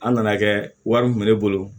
An nana kɛ wari kun bɛ ne bolo